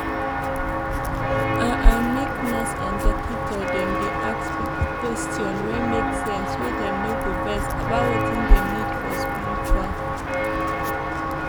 ah ah make nurse and dokita dem dey ask pipo question wey make sense wey dem no go vex about wetin dem need for spritual